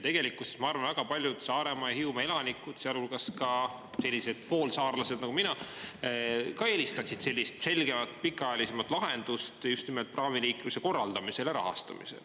Tegelikkuses ma arvan, et väga paljud Saaremaa ja Hiiumaa elanikud, sealhulgas ka sellised poolsaarlased nagu mina, ka eelistaksid sellist selgemat pikaajalisemat lahendust just nimelt praamiliikluse korraldamisel ja rahastamisel.